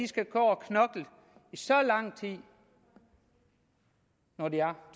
skal gå og knokle i så lang tid når de er